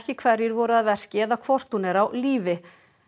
hverjir voru að verki eða hvort hún er á lífi